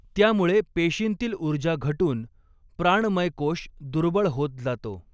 त्यामुळे पेशींतील ऊर्जा घटून प्राणमयकोष दुर्बळ होत जातो.